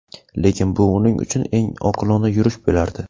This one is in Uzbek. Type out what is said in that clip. Lekin bu uning uchun eng oqilona yurish bo‘lardi.